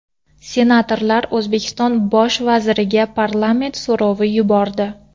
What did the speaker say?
Senatorlar O‘zbekiston Bosh vaziriga parlament so‘rovi yubordi.